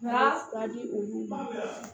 Nka a di olu ma